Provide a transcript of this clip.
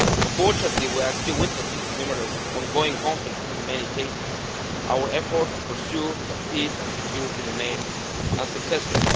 Unfortunately, we are still witnessing numerous ongoing conflicts and, in many cases, our efforts to pursue peace and security remain unsuccessful.